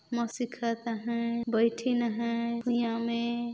सिखाता है बैठीन है कुइया में--